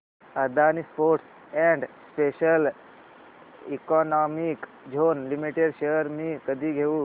Adani ports and special economic zone limited shares मी कधी घेऊ